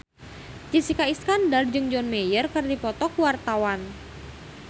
Jessica Iskandar jeung John Mayer keur dipoto ku wartawan